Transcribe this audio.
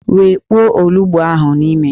Wekpuo olughu ahụ n'ime!